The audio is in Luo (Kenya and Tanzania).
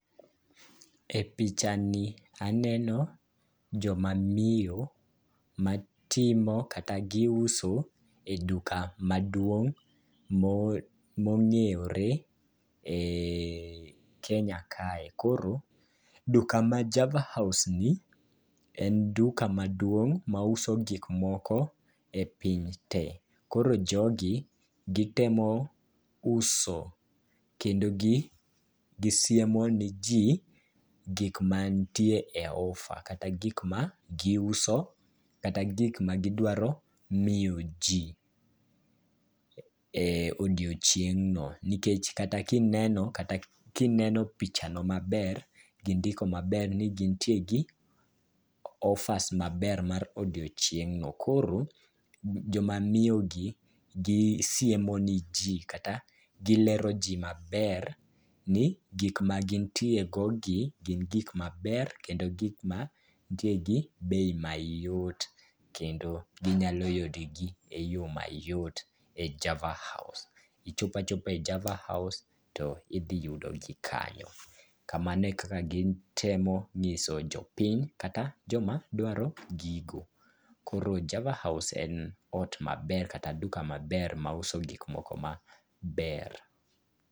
E pichani, aneno jomamiyo matimo kata giuso e duka maduong' mong'e yore e Kenya kae. Koro duka ma Java House ni en duka maduong' mauso gik moko e pinyte. Koro jogi gitemo uso kendo gisiemo ne ji gik mantie e offer kata gik ma giuso kata gik ma gidwaro miyo ji e odiochieng'no nikech kata kineno pichano maber, gindiko maber ni gintie gi offers maber mar odiochieng'no. Koro jomamiyogi gisiemo neji kata gilero ji maber ni gik magintiego gi gin gik maber kendo gik mantie gi bei mayot kendo ginyalo yudogi e yo mayot e Java House. Ichopo achopa e Java House, to idhi yudogi kanyo. Kamano e kaka gitemo nyiso jopiny kata joma dwaro gigo. Koro Java House en ot maber kata duka maber mauso gik moko maber.